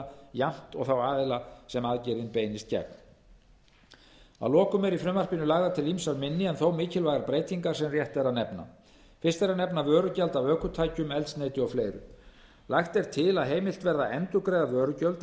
jafnt og þá aðila sem aðgerðin beinist gegn að lokum eru í frumvarpinu lagðar til ýmsar minni en þó mikilvægar breytingar sem rétt er að nefna fyrst er að nefna vörugjald af ökutækjum eldsneyti og fleiri lagt er til að heimilt verði að endurgreiða vörugjöld